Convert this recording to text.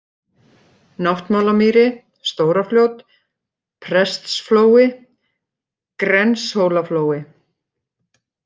Náttmálamýri, Stórafljót, Prestsflói, Grenshólaflói